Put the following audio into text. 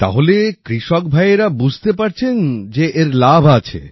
তাহলে কৃষক ভাইয়েরা বুঝতে পারছেন যে এর লাভ আছে